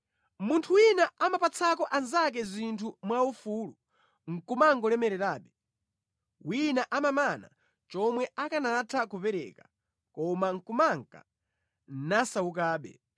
Munthu wina amapatsako anzake zinthu mwaufulu nʼkumangolemererabe; wina amamana chomwe akanatha kupereka, koma kumanka nasawukabe.